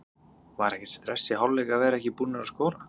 Var ekkert stress í hálfleik að vera ekki búnar að skora?